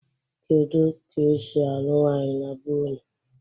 kedu ka esi alụ nwanyị na be ụnụ?